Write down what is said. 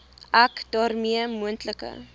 ek daarmee moontlike